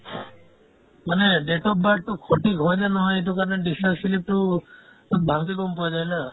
মানে date of birth তো সঠিক হয়নে নহয় সেইটো কাৰণে discharge slip তো তাত ভালকে গম পোৱা যায় না